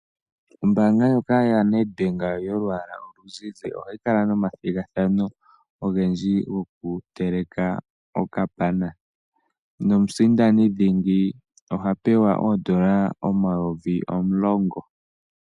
Ombaanga ndjoka yaNedbank yolwaala oluzizi ohayi kala nomathigathano ogendji gokuteleka okapana nomusindanidhingi oha pewa oondola omayovi omulongo.